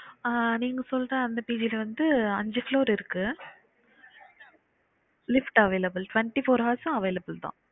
ஆஹ் நீங்க சொல்ற அந்த period வந்து அஞ்சு floor இருக்கு lift available twenty-four hours வும் available தான்